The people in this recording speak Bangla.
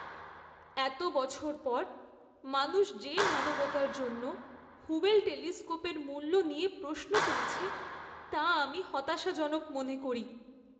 এত বছর পর, মানুষ যে মানবতার জন্য হুবেল টেলিস্কোপের মূল্য নিয়ে প্রশ্ন তুলছে, তা আমি হতাশাজনক মনে করি।